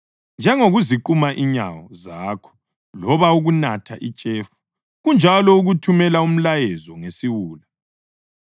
Njengokuziquma inyawo zakho loba ukunatha itshefu, kunjalo ukuthumela umlayezo ngesiwula.